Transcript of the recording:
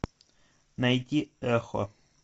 найти эхо